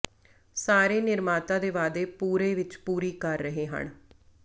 ਸਾਰੇ ਨਿਰਮਾਤਾ ਦੇ ਵਾਅਦੇ ਪੂਰੇ ਵਿਚ ਪੂਰੀ ਕਰ ਰਹੇ ਹਨ